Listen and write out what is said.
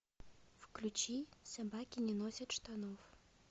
включи собаки не носят штанов